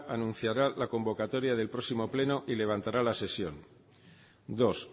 anunciará la convocatoria del próximo pleno y levantará la sesión dos